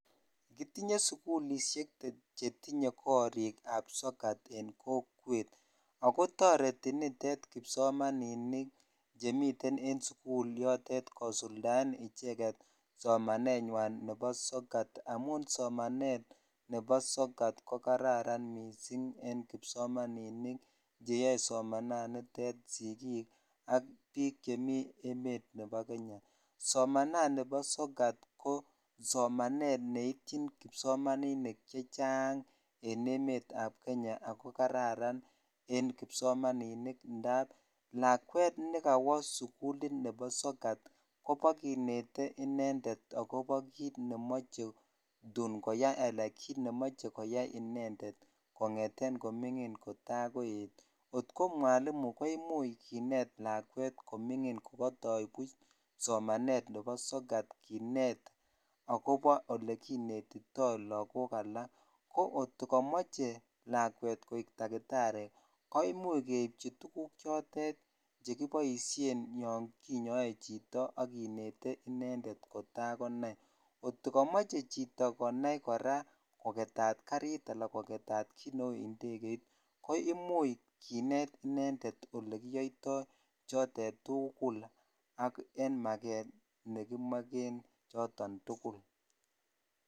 Kotinye sigilisiek chetinye korik kab sokat en kokwet agotoreti nitet kipsomaninik chemiten en sugul notet kosuldaen somanet nywan nebosokat amun somanet nebo sokat kokararan missing en kipsomaninik cheyoe somanet notet sigik ak biik che miten emet nebo kenya somananibo sokat ko somanet neityin kipsomaninik che chang en emet ab Kenya ago kararan kipsomaninik ndap lakwet ne kawosugulit nebo sokat kobakinete inendet agobo kiit ne mochetun koyai anan kiit ne moche koyai inendet kongeten kominin agoi kotar koet akot ko mwalimu kineet lakwet ko mingin kogatoi somanet nebo sokat kinet agobo olekinetito lagok alak agotkokamoche lakwet koek takitari koimuch keibchi tuguk chilotet chekipoishen yon kinyoe chito aginete inendet kotar konai agot kokamoche chito konai koro kogetet garit anan kogetat kiit neu indegeit koimuch kinet inendet olekiyoitoi chotet tugul ak en maget nekimogen choton tugul